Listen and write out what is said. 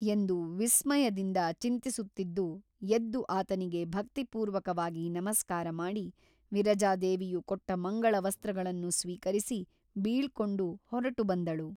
ಎಂದು ವಿಸ್ಮಯದಿಂದ ಚಿಂತಿಸುತ್ತಿದ್ದು ಎದ್ದು ಆತನಿಗೆ ಭಕ್ತಿಪೂರ್ವಕವಾಗಿ ನಮಸ್ಕಾರ ಮಾಡಿ ವಿರಜಾದೇವಿಯು ಕೊಟ್ಟ ಮಂಗಳ ವಸ್ತ್ರಗಳನ್ನು ಸ್ವೀಕರಿಸಿ ಬೀಳ್ಕೊಂಡು ಹೊರಟು ಬಂದಳು.